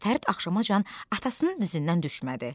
Fərid axşamacan atasının dizindən düşmədi.